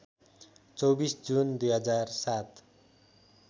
२४ June २००७